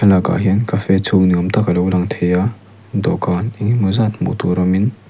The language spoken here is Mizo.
thlalâk hian cafe chhûng ni âwm tak a lo lang thei a dawhkân eng emaw zât hmuh tûr awmin--